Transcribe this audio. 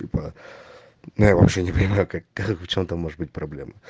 типа ну я вообще не понимаю как и в чём там может быть проблема